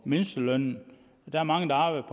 mindstelønnen der er mange der arbejder